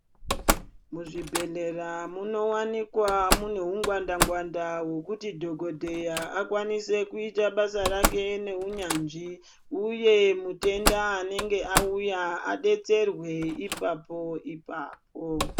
Muzvibhedhleya munovanikwa mune hungwanda-ngwanda hwekuti dhogodheya akwanise kuite basa rake neunyanzvi, uye mutenda anenge auya abetserwe ipapo-ipapo.